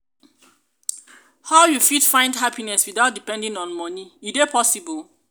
how you fit find happiness without depending on money e dey possible?